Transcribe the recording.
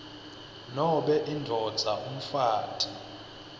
nobe indvodza umfati